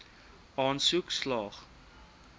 aansoek slaag